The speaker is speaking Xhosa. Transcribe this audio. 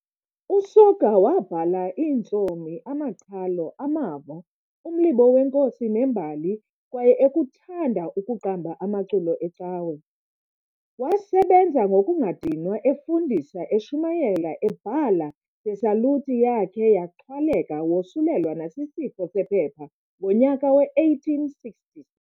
USoga wabhala iintsomi, amaqhalo, amavo, umlibo weenkosi nembali kwaye ekuthanda ukuqamba amaculo ecawa. Wasebenza ngokungadinwa, efundisa, eshumayela, ebhala- de saluti yakhe yaxhwaleka wosulelwa nasisifo sephepha ngonyaka we-1860.